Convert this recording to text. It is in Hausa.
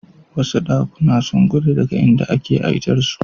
Wasu dokuna sun gudu daga inda ake aijarsu.